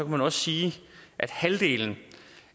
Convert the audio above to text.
man også sige at halvdelen